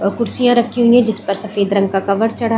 और खुर्शियाँ रखी हुई जिस पर सफ़ेद रंग का कवर चढ़ा--